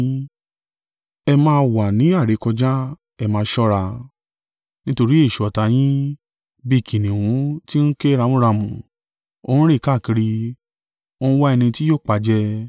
Ẹ máa wà ni àìrékọjá, ẹ máa ṣọ́ra; nítorí èṣù ọ̀tá yín, bí i kìnnìún tí ń ké ramúramù, ó ń rìn káàkiri, ó ń wa ẹni tí yóò pajẹ.